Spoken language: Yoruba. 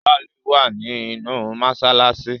Saliu wá ní inú masalasi.